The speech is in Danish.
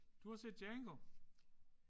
Du har set Django